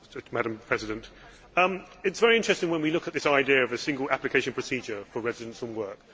Madam President, it is very interesting when we look at this idea of a single application procedure for residents and work.